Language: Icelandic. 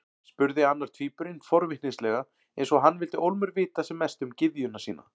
spurði annar tvíburinn forvitnislega, eins og hann vildi ólmur vita sem mest um gyðjuna sína.